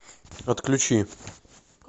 отключи